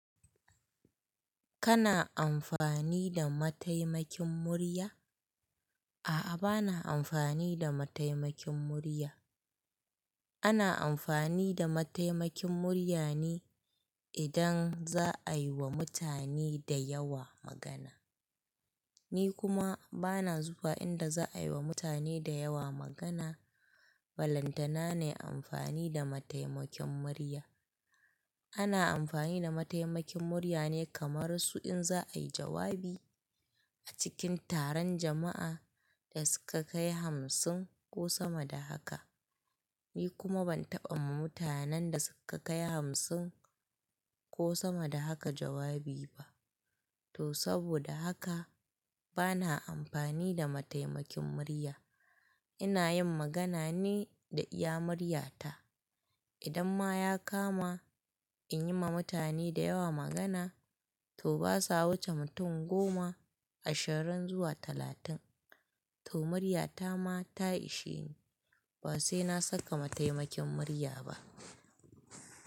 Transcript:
Kana amfani da mataimakin murya? A'a, bana amfani da mataimakin murya. Ana amfani da mataimakin murya ne idan za a yi wa mutane da yawa magana. Ni kuma bana zuwa inda za a yi wa mutane da yawa magana. Balantana nai amfani da mataimakin murya. Ana amfani da mataimakin murya ne kamar su in za a yi jawabi a cikin taron jama'a da suka kai hamsin ko sama da haka. Ni kuma ban taɓa ma mutanen da suka kai hamsin ko sama da haka jawabi ba. To saboda haka bana amfani da mataimakin murya. Ina yin magana ne da iya murya ta. Idan ma ya kama in yi ma mutane da yawa magana, to basa wuce mutum goma, ashirin zuwa talatin. To murya ta ma ta ishe ni. Ba sai na saka mataimakin murya ba.